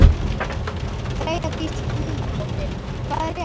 Freyja Dís Númadóttir: Hvað er rétt?